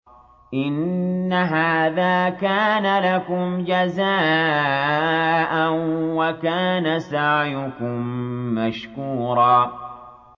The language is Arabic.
إِنَّ هَٰذَا كَانَ لَكُمْ جَزَاءً وَكَانَ سَعْيُكُم مَّشْكُورًا